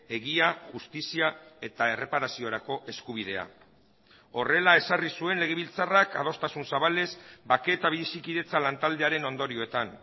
egia justizia eta erreparaziorako eskubidea horrela ezarri zuen legebiltzarrak adostasun zabalez bake eta bizikidetza lantaldearen ondorioetan